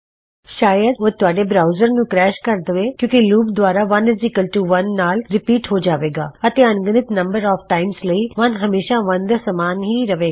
ਸ਼ਾਇਦ ਉਹ ਤੁਹਾਡੇ ਬਰਾਉਜਰ ਨੂੰ ਕਰੈਸ਼ ਕਰ ਦਵੇ ਕਿਉ ਕਿ ਲੂਪ ਦੁਬਾਰਾ 11 ਨਾਲ ਰੀਪੀਟ ਹੋ ਜਾਵੇਗਾ ਅਤੇ ਅੰਨਗਿਨੰਤ ਨੰਬਰ ਆਫ ਟਾਇਮਜ ਲਈ 1 ਹਮੇਸ਼ਾ 1 ਦੇ ਸਮਾਨ ਹੀ ਰਹੇਗਾ